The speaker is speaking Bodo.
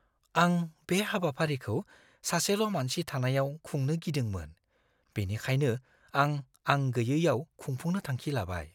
आं बे हाबाफारिखौ सासेल' मानसि थानायाव खुंनो गिदोंमोन बेनिखायनो आं आं गैयैयाव खुंफुंनो थांखि लाबाय।